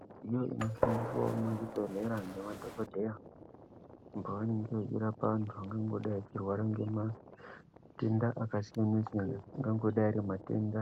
Midziyo inoshandiswa muzvibhedhlera ngemadhokodheya pavangadai vachirapa vantu vangadai vachirwara ngematenda akasiyana-siyana. Angango dai ari matenda